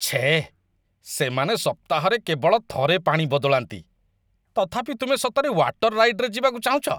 ଛେଃ, ସେମାନେ ସପ୍ତାହରେ କେବଳ ଥରେ ପାଣି ବଦଳାନ୍ତି, ତଥାପି ତୁମେ ସତରେ ୱାଟର୍ ରାଇଡ଼୍‌‌‌ରେ ଯିବାକୁ ଚାହୁଁଛ ?